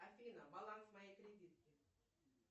афина баланс моей кредитки